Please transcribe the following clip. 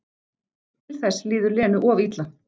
Til þess líður Lenu of illa.